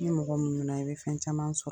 Ni mɔgɔ muɲuna, i be fɛn caman sɔrɔ.